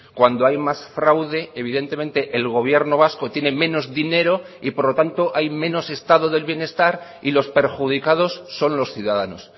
cuando hay más fraude evidentemente el gobierno vasco tiene menos dinero y por lo tanto hay menos estado del bienestar y los perjudicados son los ciudadanos